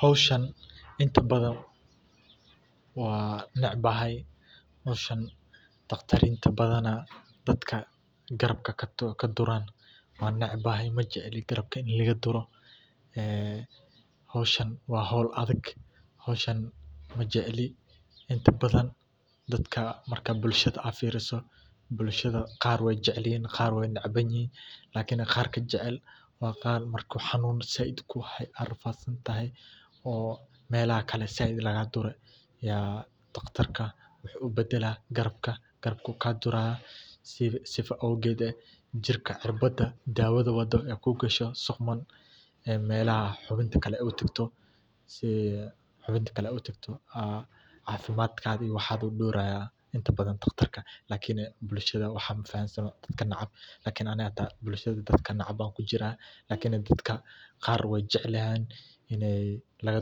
hawsha intaa baadan waan necebahay hawshan daqtiirinta baadan daadka garabka ka duran waan cenebahay ma jeceli garabka la igaduro een hawshana waa hawl adaag hawshan ma jeceli intaa baadan dadka marka bulsha aa fiiriso bulshada qaar wey necebyihin qaar wey jecelyihin lakini qaarka jecel waa qaar marku xanun saaid kuhayo aad rafadsantahay oo melaxa kale saaid laga dure yaa daqtarka waaxu ubaadala garabka ka duraya sidhaa oo geed jirka cirbada dawada waado ee kugasho sii quman ee melaaxa xuwiinta kale ee utaagto aa cafimadka waaxa dordoraya intaa badaan daqtarka lakini bulshada waaxa mafahansano dadka neceb lakini bulshada daadka neceb aya kujira daadka qaar wey jecelyihin iney laga